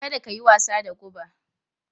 Kada ka yi wasa da guba!